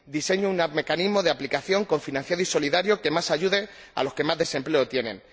diseñe un mecanismo de aplicación cofinanciado y solidario que ayude más a los que más desempleo tienen